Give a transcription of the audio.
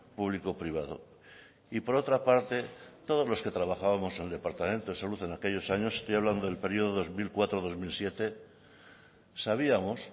público privado y por otra parte todos los que trabajábamos en el departamento de salud en aquellos años estoy hablando del periodo dos mil cuatro dos mil siete sabíamos